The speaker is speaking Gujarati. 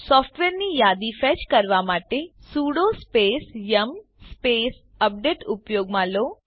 સોફ્ટવેરની યાદીને ફેચ કરવા માટે sudo space yum space update ઉપયોગમાં લો